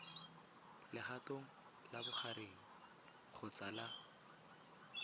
legatong la bogareng kgotsa la